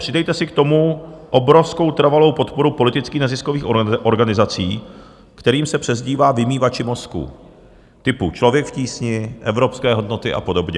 Přidejte si k tomu obrovskou trvalou podporu politických neziskových organizací, kterým se přezdívá vymývači mozků, typu Člověk v tísni, Evropské hodnoty a podobně.